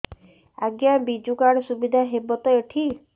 ଆଜ୍ଞା ବିଜୁ କାର୍ଡ ସୁବିଧା ହବ ତ ଏଠି